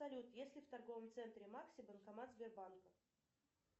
салют есть ли в торговом центре макси банкомат сбербанка